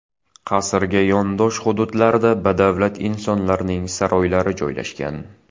Qasrga yondosh hududlarda badavlat insonlarning saroylari joylashgan.